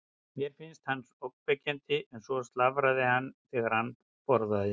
Mér fannst hann ógnvekjandi og svo slafraði hann þegar hann borðaði.